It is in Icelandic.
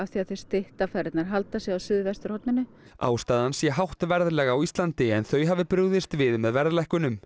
því að þau stytta ferðirnar halda sig á suðvesturhorninu ástæðan sé hátt verðlag á Íslandi en þau hafi brugðist við með verðlækkunum